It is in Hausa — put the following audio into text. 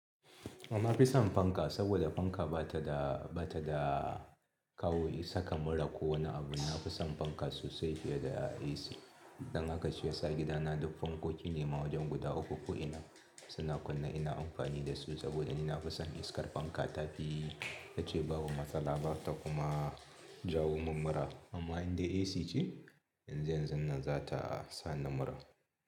Amma fi son fanka saboda fanka ba ta da, ba ta da kawo saka mura ko wani abu. Na fi son fanka sosai fiye da AC. Don haka shi yasa gidana duk fankoki ne ma wajen guda uku ko ina suna kunne ina amfani da su saboda ni na fi son iskar fanka ta fi. Tace babu matsala, bata kuma jawo min mura. Amma in dai AC ce, yanzu yanzun nan za ta sa ni mura.